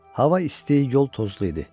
Hava isti, yol tozlu idi.